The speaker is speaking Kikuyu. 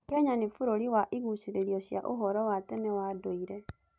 Kenya nĩ bũrũri wa igucĩrĩrio cia ũhoro wa tene wa ndũire.